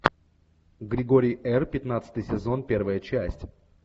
григорий р пятнадцатый сезон первая часть